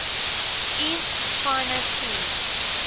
east china sea